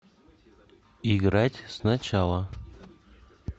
играть сначала